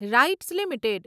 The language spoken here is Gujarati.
rights limited